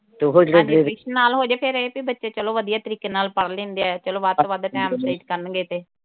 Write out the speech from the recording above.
ਨਾਲ ਹੋ ਜਏ ਫਿਰ ਇਹ ਤੇ ਬੱਚੇ ਚੱਲੋ ਵਧੀਆ ਤਰੀਕੇ ਨਾਲ ਪੜ੍ਹ ਲੈਂਦੇ ਆ ਚੱਲੋ ਵੱਧ ਤੋਂ ਵੱਧ time . ਕਰਨਗੇ ਤੇ।